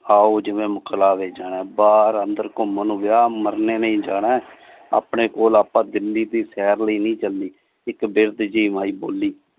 ਆਓ ਜਿੰਨੇ ਮੁਕਲਾਵੇ ਜਾਣਾ ਬਾਰ ਅੰਦਰ ਘੁੰਮਣ ਵਿਆਹ ਮਰਨੇ ਨਹੀਂ ਜਾਣਾ ਆਪਣੇ ਕੋਲ ਆਪਾਂ ਦਿੱਲੀ ਸ਼ਹਿਰ ਲਈ ਨਹੀਂ ਚਲੀ ਇਕ ਵਿਰਦ ਜੀ ਮਾਇ ਬੋਲੀ।